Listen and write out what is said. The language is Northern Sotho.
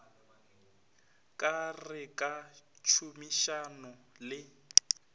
ka re ka tšhomišano le